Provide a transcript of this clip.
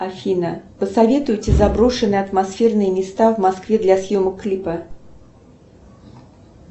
афина посоветуйте заброшенные атмосферные места в москве для съемок клипа